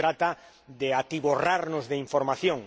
No se trata de atiborrarnos de información.